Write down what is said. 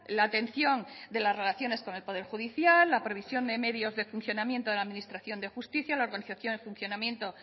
la atención de las relaciones con el poder judicial la previsión de medios de funcionamiento de la administración de justicia la organización y funcionamiento